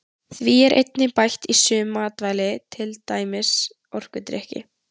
Því er einnig bætt í sum matvæli til dæmis orkudrykki.